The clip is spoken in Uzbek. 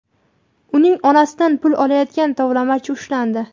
uning onasidan pul olayotgan tovlamachi ushlandi.